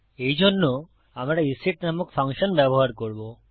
এইজন্য আমরা ইসেট নামক ফাংশন ব্যবহার করব